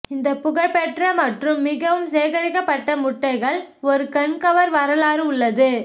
இந்த புகழ்பெற்ற மற்றும் மிகவும் சேகரிக்கப்பட்ட முட்டைகள் ஒரு கண்கவர் வரலாறு உள்ளது